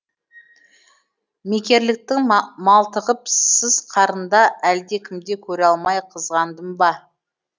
мекерліктің малтығып сыз қарында әлдекімді көре алмай қызғандым ба